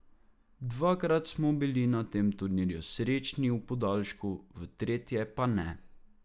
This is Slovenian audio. Dvakrat smo bili na tem turnirju srečni v podaljšku, v tretje pa ne.